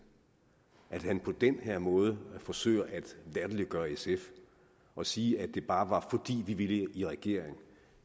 at han på den her måde forsøger at latterliggøre sf og sige at det bare var fordi vi ville i regering